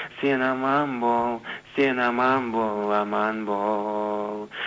сен аман бол сен аман бол аман бол